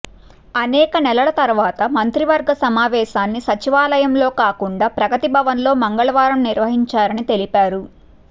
అనేక నెలల తరు వాత మంత్రివర్గ సమావేశాన్ని సచివాలయంలో కాకుం డా ప్రగతి భవన్లో మంగళవారం నిర్వహించారని తెలి పారు